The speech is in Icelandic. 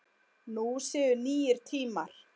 Nú séu nýir tímar.